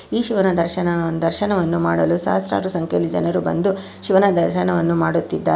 ಈ ಶಿವನ ದರ್ಶನ ದರ್ಶನವನ್ನು ಮಾಡಲು ಸಾಹಸ್ರರು ಸಂಖ್ಯೆಯಲ್ಲಿ ಜನರು ಬಂದು ಶಿವನ ದರ್ಶನವನ್ನು ಮಾಡುತ್ತಿದ್ದಾರೆ.